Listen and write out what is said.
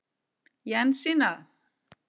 Jensína